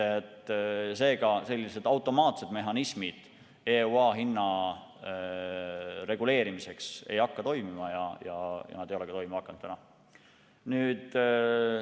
Seega, sellised automaatsed mehhanismid EUA hinna reguleerimiseks ei hakka toimima, nad ei olegi toimima hakanud.